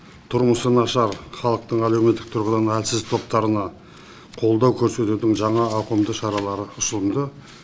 тұрмысы нашар халықтың әлеуметтік тұрғыдан әлсіз топтарына қолдау көрсетудің жаңа ауқымды шаралары ұсынылды